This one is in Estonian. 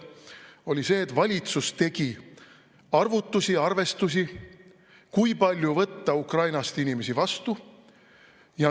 See oli see, et valitsus tegi arvutusi, arvestusi, kui palju võtta Ukrainast inimesi vastu.